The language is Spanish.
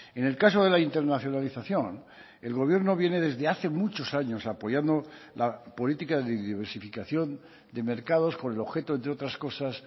en el caso de la internacionalización el gobierno viene desde hace muchos años apoyando la política de diversificación de mercados con el objeto entre otras cosas